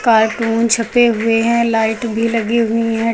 IPhone छपे हुए हैं लाइट भी लगी हुई हैं।